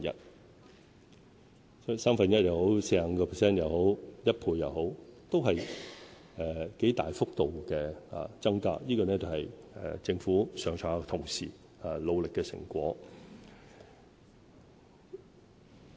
所以，不論是三分之一、45% 或1倍，都是很大的增幅，這是政府上上下下同事努力的成果。